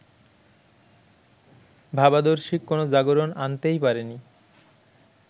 ভাবাদর্শিক কোনো জাগরণ আনতেই পারেনি